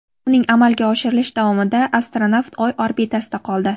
Uning amalga oshirilishi davomida astronavt Oy orbitasida qoldi.